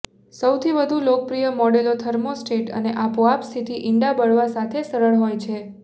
સૌથી વધુ લોકપ્રિય મોડેલો થર્મોસ્ટેટ અને આપોઆપ સ્થિતિ ઇંડા બળવા સાથે સરળ હોય છે